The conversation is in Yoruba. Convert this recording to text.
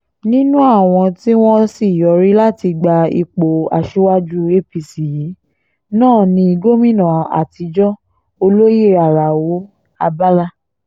nínú àwọn tí wọ́n sì yọrí láti gba ipò aṣíwájú apc yìí náà ní gómìnà àtijọ́ olóyè alao abala